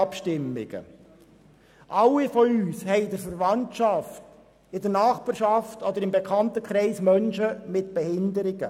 Alle von uns haben in der Verwandtschaft, in der Nachbarschaft oder im Bekanntenkreis Menschen mit Behinderungen.